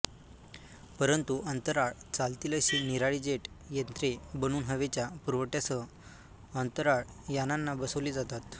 परंतू अंतराळात चालतील अशी निराळी जेट यंत्रे बनवून हवेच्या पुरवठ्यासह अंतराळयानांना बसवली जातात